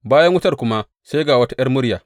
Bayan wutar kuma sai ga wata ’yar murya.